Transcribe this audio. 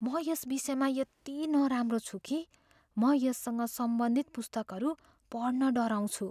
म यस विषयमा यति नराम्रो छु कि म यससँग सम्बन्धित पुस्तकहरू पढ्न डराउँछु।